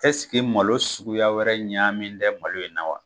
malo suguya wɛrɛ ɲaami tɛ malo in na wa?